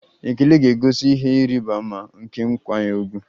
Ekele ga-egosi ihe ịrịba ama nke nkwanye ùgwù.